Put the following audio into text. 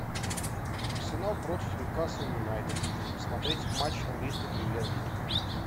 арсенал против ньюкасл юнайтед смотреть матч английской премьер лиги